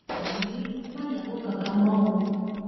buhari ẹ má yáwó kankan mọ o